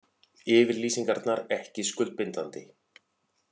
Yfirlýsingarnar ekki skuldbindandi